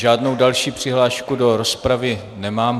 Žádnou další přihlášku do rozpravy nemám.